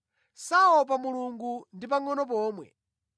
“Saopa Mulungu ndi pangʼono pomwe.”